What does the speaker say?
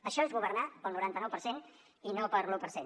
això és governar per al noranta nou per cent i no per a l’un per cent